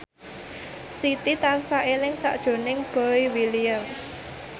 Siti tansah eling sakjroning Boy William